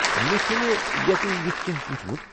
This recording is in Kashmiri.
مےٚ چھُنہٕ یتہِ یُتھ کینٛہہ وُچھمُت۔